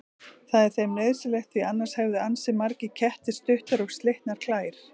Það er þeim nauðsynlegt því annars hefðu ansi margir kettir stuttar og slitnar klær.